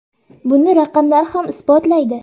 Buni raqamlar ham isbotlaydi.